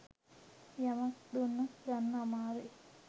යමක් දුන්නොත් ගන්න අමාරුයි.